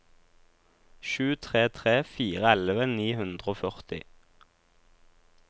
sju tre tre fire elleve ni hundre og førti